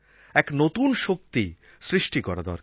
এক নতুন শক্তি সৃষ্টি করা দরকার